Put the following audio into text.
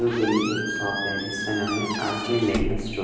दो बिल्डिंग एक शॉप है जिसका नाम है आर_के मेगा स्टो--